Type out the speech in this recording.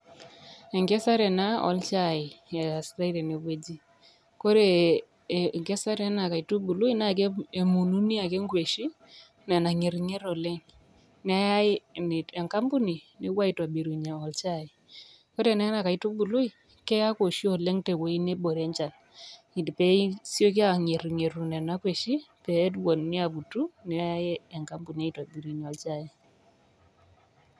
Enkesare ena olchai ,koree enkesare ena kaitubului na emununi ake nkweshi nena ngernger oleng neyai enkampuni nepoi aitobirie shai ore ena kaitubului keoku oshi oleng tewueji nabore enchan pesieku angerungeru nona nkwesin nemununi petumokiini neyai enkampuni.